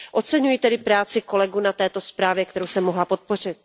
Oceňuji tedy práci kolegů na této zprávě, kterou jsem mohla podpořit.